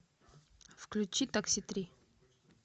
включи такси три